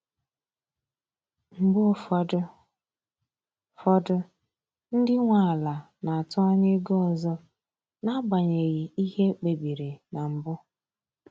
Mgbe ụfọdụ fọdụ ndị nwe ala na-atụ anya ego ọzọ n’agbanyeghị ihe ekpe biri na mbụ.